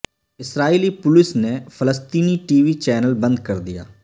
اسرائیلی police نے فلسطینی T V channel بند کر دیا